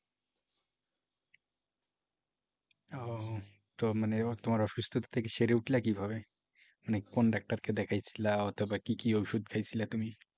ও তো মানে তোমার অসুস্থতার থেকে সেরে উঠলা কিভাবে? মানে কোন ডাক্তারকে দেখাই ছিলা অথবা কি কি ওষুধ খাইছিলা তুমি?